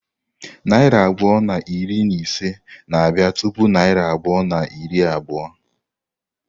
Narị abụọ na iri na ise na-abịa tupu narị abụọ na iri abụọ.